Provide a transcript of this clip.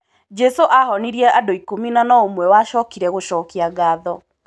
Jesu ahonirie andũ ikũmi no no ũmwe wacokire gũcokia ngatho.